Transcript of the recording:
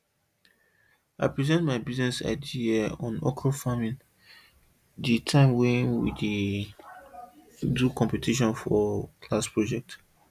i present my business idea on okra farming the time wey we do competition for class project